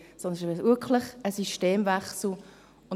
Es ist wirklich ein Systemwechsel.